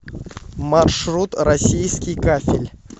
маршрут российский кафель